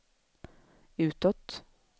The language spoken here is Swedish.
utåt